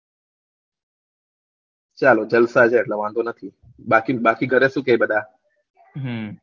ચાલો જલસા છે વાધો નથી બાકી બાકી ઘરે શું કે બધાં હમ